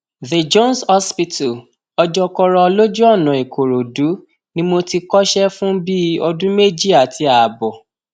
the jones hospital ọjọkọrọ lójú ọnà ìkòròdú ni mo ti kọsẹ fún bíi ọdún méjì àti ààbọ